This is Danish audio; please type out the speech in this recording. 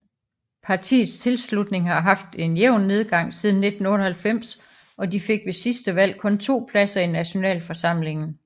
Partiets tilslutning har haft en jævn nedgang siden 1998 og de fik ved sidste valg kun 2 pladser i nationalforsamlingen